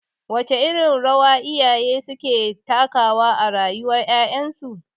Wace irin rawa iyaye suke takawa a rayuwar ƴaƴansu?